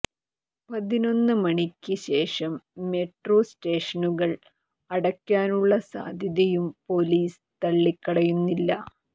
പതിനൊന്ന് മണിക്ക് ശേഷം മെട്രോ േസ്റ്റഷനുകൾ അടയ്ക്കാനുള്ള സാധ്യതയും പോലീസ് തള്ളിക്കളയുന്നില്ല